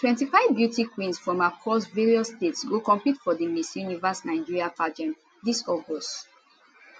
25 beauty queens from across various states go compete for di miss universe nigeria pageant dis august